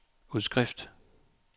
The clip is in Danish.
udskrift